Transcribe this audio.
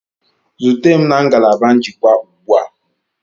Zute m na ngalaba njikwa ugbu a!